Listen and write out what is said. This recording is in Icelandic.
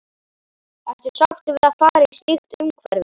Ertu sáttur við að fara í slíkt umhverfi?